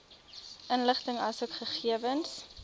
inligting asook gegewens